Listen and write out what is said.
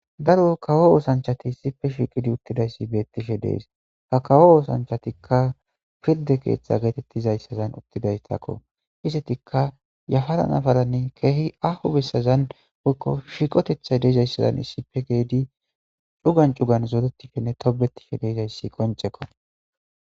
daro kawo oosanchati issipe shiqidi uttidayssi beettishe dees ha kawo oosanchatikka pirde keeththa geetettizayssazan uttidayssakko istetikka yafara n afaranne keehi aho bessazan woykko shiqotethay deezayssazan issipe geedi cugan cugan zodetishshenne tobetishe deezayssi qoncekko